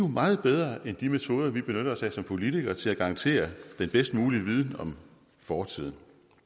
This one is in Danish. meget bedre end de metoder vi benytter os af som politikere til at garantere den bedst mulige viden om fortiden